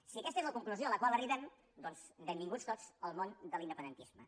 si aquesta és la conclusió a la qual arribem doncs benvinguts tots al món de l’independentisme